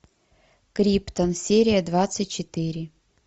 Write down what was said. криптон серия двадцать четыре